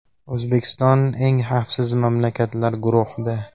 O‘zbekiston eng xavfsiz mamlakatlar guruhida.